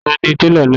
Ta ni télọ̀ náà?